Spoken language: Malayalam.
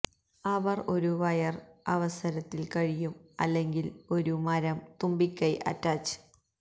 അവർ ഒരു വയർ അവസരത്തിൽ കഴിയും അല്ലെങ്കിൽ ഒരു മരം തുമ്പിക്കൈ അറ്റാച്ച്